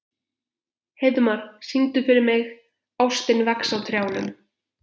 Heiðmar, syngdu fyrir mig „Ástin vex á trjánum“.